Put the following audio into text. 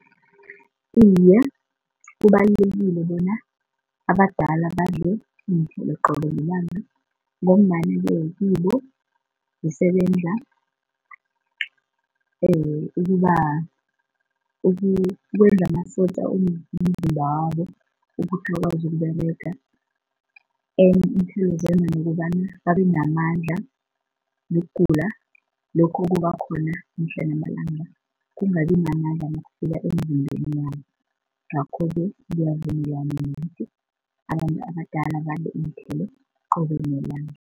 Iye, kubalulekile bona abadala badle iinthelo qobe lilanga ngombana-ke kibo zisebenza ukuba ukwenza amasotja womzimba wabo ukuthi akwazi ukUberega. Enye ukobana babe namandla nokugula lokho kubakhona mihla namalanga kungabi mamandla nakufika emizimbeni yabo ngakho-ke ngiyavumelana nokuthi abantu abadala badle iinthelo qobe nelanga.